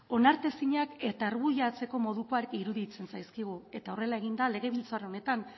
onartezinak eta argudiatzeko modukoak iruditzen zaizkigu eta horrela egin da legebiltzar honetan